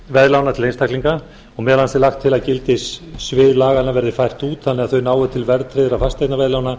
fasteignaveðlána til einstaklinga meðal annars er lagt til að gildissvið laganna verði fært út þannig að þau nái til verðtryggðra fasteignaveðlána